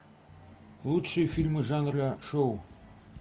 лучшие фильмы жанра шоу